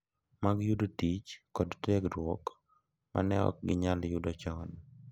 Mag yudo tich kod tiegruok ma ne ok ginyal yudo chon.